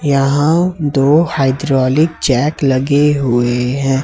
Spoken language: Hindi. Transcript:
यहाँ दो हाइड्रोलिक जैक लगे हुए है।